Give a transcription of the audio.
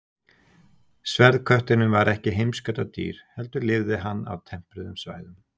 Sverðkötturinn var ekki heimskautadýr heldur lifði hann á tempruðum svæðum.